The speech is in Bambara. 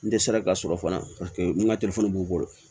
N dɛsɛra ka sɔrɔ fana n ka b'u bolo